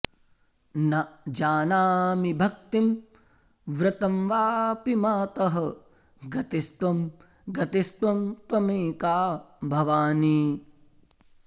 न जानामि भक्तिं व्रतं वापि मातः गतिस्त्वं गतिस्त्वं त्वमेका भवानि